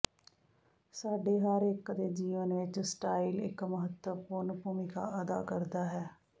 ਸਾਡੇ ਹਰ ਇੱਕ ਦੇ ਜੀਵਨ ਵਿੱਚ ਸਟਾਈਲ ਇੱਕ ਮਹੱਤਵਪੂਰਨ ਭੂਮਿਕਾ ਅਦਾ ਕਰਦਾ ਹੈ